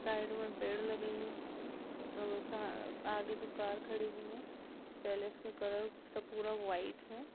Side में पेड़ लगे हैं और सा आगे दो कार खड़ी हुई हैं पैलेस का कलर स पूरा वाइट हैं।